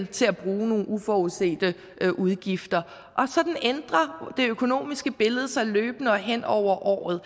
til at bruge nogle uforudsete udgifter og sådan ændrer det økonomiske billede sig løbende og hen over året